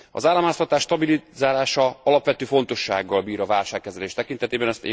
Az államháztartás stabilizálása alapvető fontossággal bír a válságkezelés tekintetében.